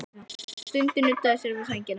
Hann stundi og nuddaði sér við sængina.